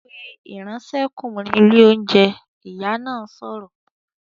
"Pe ìránṣẹ́kùnrin ilé oúnjẹ!", Ìyá náà sọ̀rọ̀